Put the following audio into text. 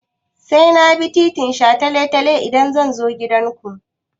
Sai na bi titin shataletale idan zan zo gidanku?